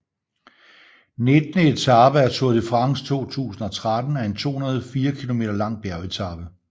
Nittende etape af Tour de France 2013 er en 204 km lang bjergetape